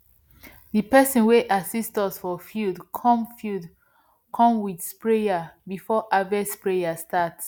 di person wey assist us for field come field come with sprayer before festival prayer start